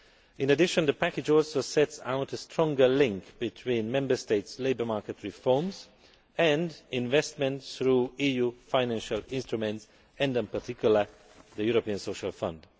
In addition, the package also sets out a stronger link between Member States' labour market reforms and investment through EU financial instruments and, in particular, the European Social Fund.